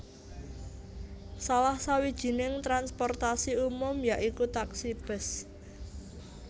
Salah sawijining transportasi umum ya iku taksi bus